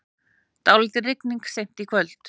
Dálítil rigning seint í kvöld